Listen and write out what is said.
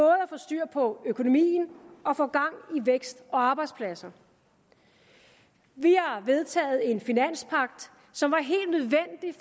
at få styr på økonomien og få gang i vækst og arbejdspladser vi har vedtaget en finanspagt som